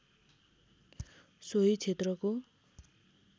सोही क्षेत्रको